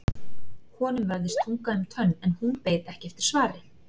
Honum vafðist tunga um tönn en hún beið ekki eftir svari.